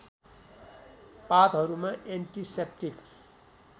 पातहरूमा antiseptic